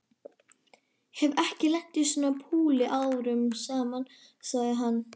Hef ekki lent í svona púli árum saman sagði hann.